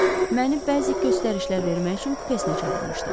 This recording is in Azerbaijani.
Məni bəzi göstərişlər vermək üçün kupesinə çağırmışdı.